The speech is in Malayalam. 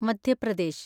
മധ്യ പ്രദേശ്